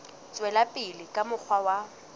tswela pele ka mokgwa wa